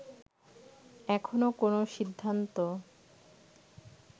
এখনো কোন সিদ্ধান্ত